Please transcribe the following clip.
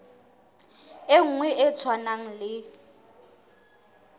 e nngwe e tshwanang le